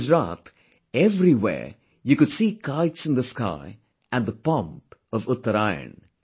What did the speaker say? In Gujarat, everywhere you could see kites in the sky and the pomp of Uttaraayan